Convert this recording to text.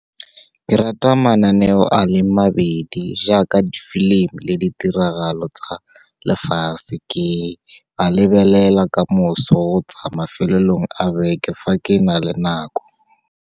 Ke rata mananeo a leng mabedi, jaaka di-film-i le ditiragalo tsa lefatshe. Ke a lebelela kamoso, tsa mafelong a beke fa ke na le nako.